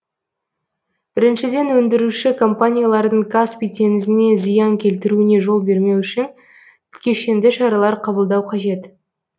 біріншіден өндіруші компаниялардың каспий теңізіне зиян келтіруіне жол бермеу үшін кешенді шаралар қабылдау қажет